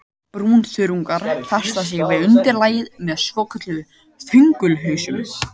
Brúnþörungar festa sig við undirlagið með svokölluðum þöngulhausum.